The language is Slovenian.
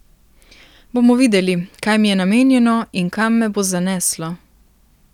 Bomo videli, kaj mi je namenjeno in kam me bo zaneslo.